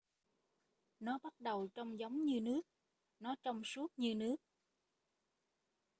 nó bắt đầu trông giống như nước nó trong suốt như nước